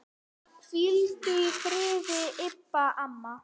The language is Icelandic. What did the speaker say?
Hvíldu í friði, Imba amma.